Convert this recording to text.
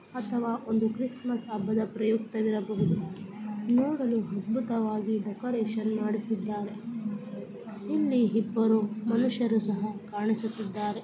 ಅಥವಾ ಒಂದು ಕ್ರಿಸ್ಮಸ್ ಹಬ್ಬದ ಪ್ರಯುಕ್ತ ಇರಬಹುದು ನೋಡಲು ಅದ್ಬುತ ವಾಗಿ ಡೆಕೋರೇಷನ್ ಮಾಡಿಸಿದ್ದಾರೆ ಇಲ್ಲಿ ಇಬ್ಬರು ಮನುಷ್ಯರು ಸಹ ಕಾಣಿಸುತ್ತಿದ್ದಾರೆ .